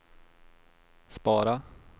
spara